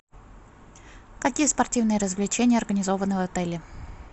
какие спортивные развлечения организованы в отеле